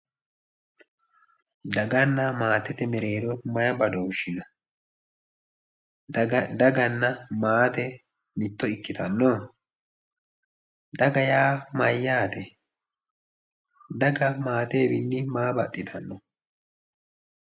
Daganna maate:-Daganna maatete mereerro mayi badooshshi no daganna maate mitto ikkitanno daga yaa mayaatte daga maatewiinni maa baxittanno